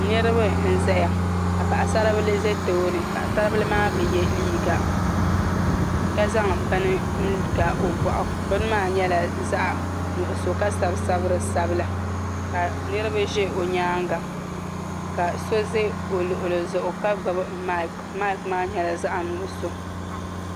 Niraba n ʒɛya ka paɣasaribili ʒɛ tooni paɣasaribili maa bi yɛ liiga ka zaŋ bini n ga o boɣu bini maa nyɛla zaɣ nuɣso ka sabi sabiri sabila ka niraba ʒɛ o nyaanga ka so ʒɛ o luɣuli zuɣu ka gbubi maik maik maa nyɛla zaɣ nuɣso